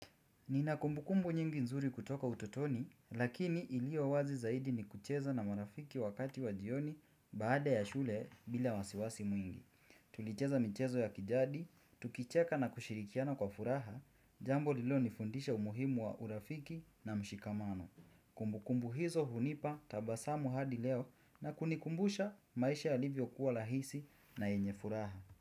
Nina kumbukumbu nyingi nzuri kutoka utotoni, lakini iliyo wazi zaidi ni kucheza na marafiki wakati wa jioni baada ya shule bila wasiwasi mwingi. Tulicheza michezo ya kijadi, tukicheka na kushirikiana kwa furaha, jambo lililonifundisha umuhimu wa urafiki na mshikamano. Kumbukumbu hizo hunipa tabasamu hadi leo na kunikumbusha maisha yalivyokuwa rahisi na yenye furaha.